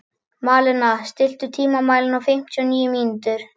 Malena, stilltu tímamælinn á fimmtíu og níu mínútur.